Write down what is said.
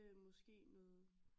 Måske noget